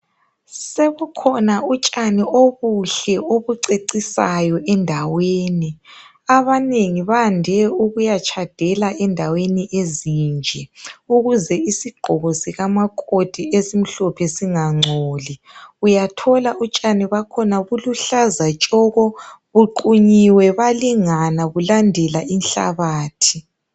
Sekukhona utshani obuhle obucecisayo endaweni. Abanengi bande ukuyatshadela endaweni ezinje. Ukuze isigqoko sikamakoti esimhlophe singangcoli. Uyathola utshani bakhona buluhlaza tshoko! Buqunyiwe, balingana, bulandela inhlabathi.